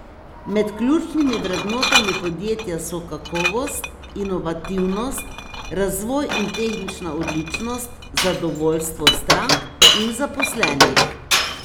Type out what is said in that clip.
Med ključnimi vrednotami podjetja so kakovost, inovativnost, razvoj in tehnična odličnost, zadovoljstvo strank in zaposlenih.